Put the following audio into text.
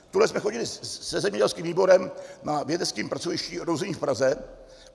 Tuhle jsme chodili se zemědělským výborem na vědeckém pracovišti Ruzyně v Praze.